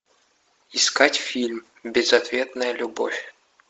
искать фильм безответная любовь